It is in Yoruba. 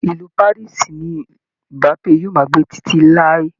Ìlù Paris ni Mbape yóò máa gbé títí láí